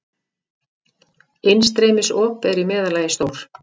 Innstreymisop eru í meðallagi stór.